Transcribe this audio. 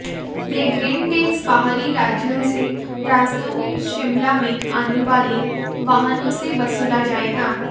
ये green tax बाहरी राज्यों से राजधानी शिमला में आने वाले वाहनों से वसूला जाएगा